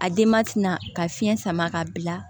A denma tɛna ka fiɲɛ sama ka bila